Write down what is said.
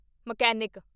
mechanic